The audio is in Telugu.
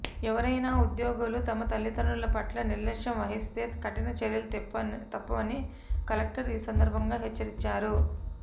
ఎవరైనా ఉద్యోగులు తమ తల్లిదండ్రుల పట్ల నిర్లక్ష్యం వహిస్తే కఠిన చర్యలు తప్పవని కలెక్టరు ఈ సందర్భంగా హెచ్చరించారు